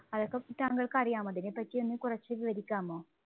അതൊക്കെ താങ്കള്‍ക്ക് അറിയാമോ? അതിനെ പറ്റി ഒന്ന് കൊറച്ച് വിവരിക്കാമോ?